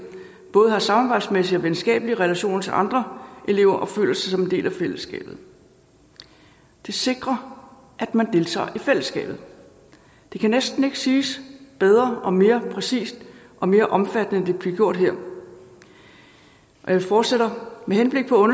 både har samarbejdsmæssige og venskabelige relationer til andre elever og føler sig som en del af fællesskabet det sikrer at man deltager i fællesskabet det kan næsten ikke siges bedre og mere præcist og mere omfattende end det bliver gjort her og jeg fortsætter med henblik på